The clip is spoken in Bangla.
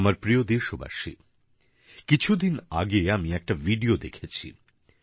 আমার প্রিয় দেশবাসী কিছুদিন আগে আমি একটা ভিডিও দেখেছি